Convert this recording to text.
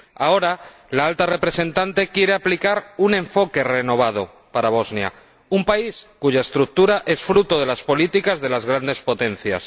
Ahora, la Alta Representante quiere aplicar un enfoque renovado para Bosnia, un país cuya estructura es fruto de las políticas de las grandes potencias.